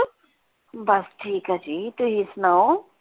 ਬਾਸ ਠੀਕ ਆ ਜੀ ਤੁਸੀਂ ਸੁਣਾਓ?